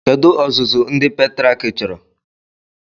Kedu ọzụzụ ndị pètrịàk chọrọ